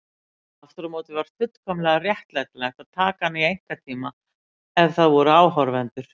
Aftur á móti var fullkomlega réttlætanlegt að taka hana í einkatíma ef það voru áhorfendur.